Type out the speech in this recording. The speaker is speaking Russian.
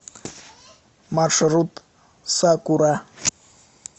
маршрут сакура